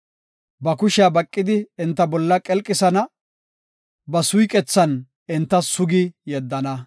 Ba kushiya baqidi enta bolla qelqisana ba suyqethan enta sugi yeddana.